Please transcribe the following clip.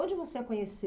Onde você a